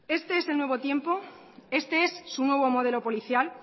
este es el nuevo tiempo este es su nuevo modelo policial